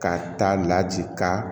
Ka taa laji ka